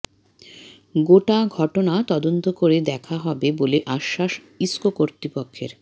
গোটা ঘটনা তদন্ত করে দেকা হবে বলে আশ্বাস ইস্কো কর্তৃপক্ষের